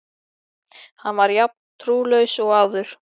Hann var jafn trúlaus og áður.